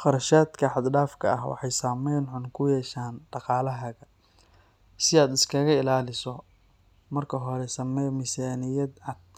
Qarashaadka xad-dhaafka ah waxay saameyn xun ku yeeshaan dhaqaalahaaga. Si aad iskaga ilaaliso, marka hore samee miisaaniyad cad